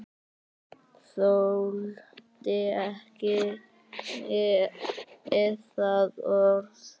Þoldi ekki það orð.